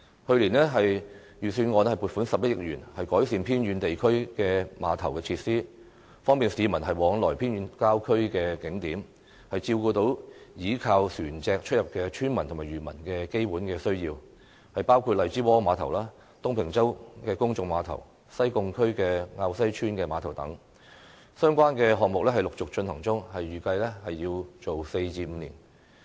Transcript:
去年，財政預算案撥款11億元，改善偏遠地區的碼頭設施，方便市民往來偏遠郊區的景點，照顧依靠船隻出入的村民及漁民的基本需要，包括荔枝窩碼頭、東平洲公眾碼頭、西貢區滘西村碼頭等，相關的項目陸續進行中，預計工程需時4至5年。